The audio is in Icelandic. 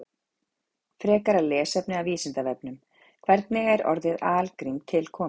Frekara lesefni af Vísindavefnum: Hvernig er orðið algrím til komið?